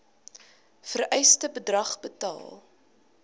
vereiste bedrag betaal